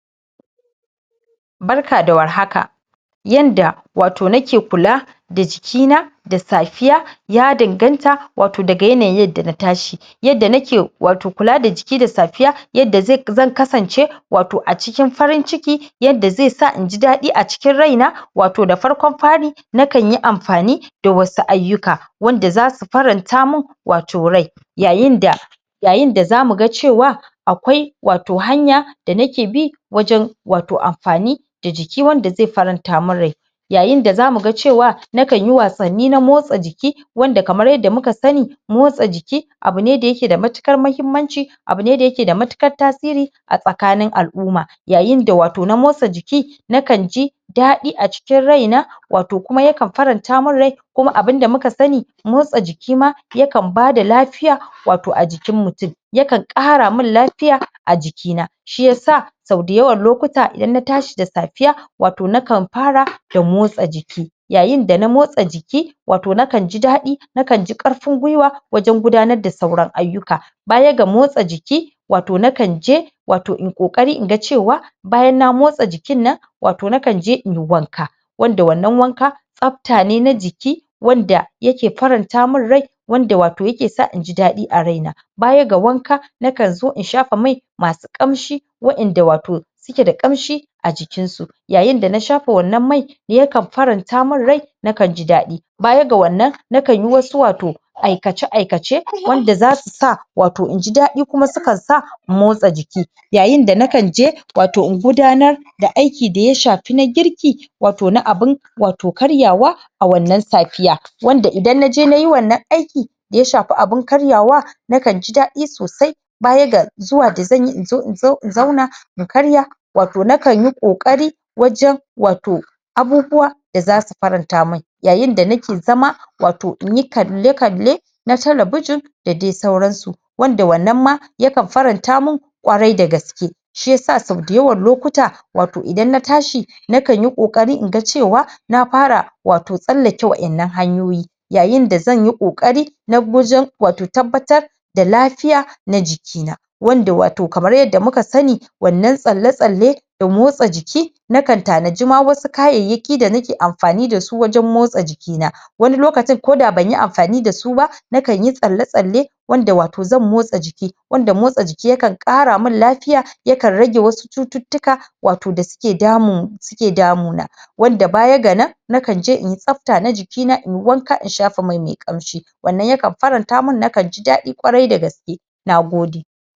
Barka da war haka yanda wato nake kula da jikina da safiya ya danganta wato daga yanayin yanda na tashi yanda nake wato kula da jiki da safiya yadda zan kasance wato a cikin farin ciki yadda zaisa inji dadi a cikin raina wato da farkon fari nakanyi amfani da wasu ayyuka wanda zasu faranta min wato rai yayinda yayinda zamuga cewa akwai wato hanya da nake bi wajen wato amfani da jiki wanda zai faranta mi n rai yayin da zamuga cewa nakanyi wasanni na motsa jiki wanda kamar yadda muka sani motsa jiki abune da yake da matukar mahimmanci, abune da yakeda matukar tasiri a tsakanin al'umma. Yayin da wato na motsa jiki, nakanji daɗi a cikin raina wato kuma yakan faranta min rai kuma abunda muka sani motsa ji ki ma yakan bada lafiya wato a jikin mutum. Yakan ƙara min lafiya a jikina. Shiyasa sau dayawan lokuta idan na tashi da safiya, wato nakan fara da motsa jiki. Yayin da na motsa jiki, wato nakanji daɗi, nakanji ƙarfin gwiwa wajen gudanar da sauran ayyuka. Bayaga motsa jiki, wato nakan je wato in ƙokari inga cewa bayan na motsa jikinnan, wato nakanje inyi wanka. Wanda wannan wanka tsafta ne na jiki wanda yake faranta min rai wanda wato yakesa inji daɗi a raina. Baya ga wanka, nakanzo in shafa mai masu ƙamshi wa'inda wato suke da ƙamshi, a jikin su. Yayin da na shafa wannan mai yakan faranta min rai nakanji daɗi. Baya ga wannan, nakanyi wasu wato aikace aikace wanda zasu sa wato inji daɗi kuma sukan sa in motsa jiki. Yayin da nakan je wato in gudanar da aiki da ya shafi na girki, wato na abun wato karyawa a wannan safiya. wanda idan naje nayi wannan aiki da ya shafi abun karyawa nakanji daɗi sosai bayaga zuwa da zanyi inzo in zauna in karya wato nakanyi ƙokari wajen wato abubuwa da zasu faranta min yayin da nake zama wato inyi kalle kalle na talabijin da dai sauransu. Wanda wannan ma yakan faranta min ƙwarai dagaske. Shiyasa sau dayawan lokuta wato idan na tashi nakanyi ƙokari inga cewa na fara wato tsallake wa'innan hanyoyi. yayinda zanyi ƙokari na wajen wato tabbatar da lafiya na jiki na. Wanda wato kamar yadda muka sani wannan tsalle tsalle da motsa jiki nakan tanadi ma wasu kayyayaki da nake amfani dasu wajen motsa jikina. Wani lokacin koda banyi amfani dasu ba, nakanyi tsalle tsalle wanda wato zan motsa jiki wanda motsa jiki yakan ƙara min lafiya yakan rage wasu cututtuka wato da suke damu suke damu na. Wanda baya ga nan nakan je in yi tsafta na jikina inyi wanka in shafa mai me ƙamshi. Wannan yakan faranta min nakanji daɗi ƙwarai da gaske. Nagode.